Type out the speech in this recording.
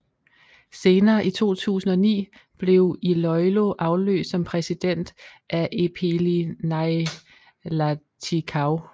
Senere i 2009 blev Iloilo afløst som præsident af Epeli Nailatikau